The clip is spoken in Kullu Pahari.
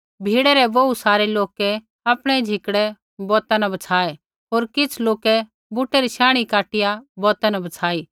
भीड़ै रै बोहू सारै लोकै आपणै झिकड़ै बौता न बछ़ाऐ होर किछ़ लोकै बूटै री शांणी काटिया बौता न बछ़ाई